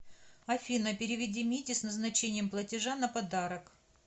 афина переведи мите с назначением платежа на подарок